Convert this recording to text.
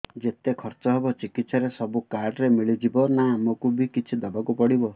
ଯେତେ ଖର୍ଚ ହେବ ଚିକିତ୍ସା ରେ ସବୁ କାର୍ଡ ରେ ମିଳିଯିବ ନା ଆମକୁ ବି କିଛି ଦବାକୁ ପଡିବ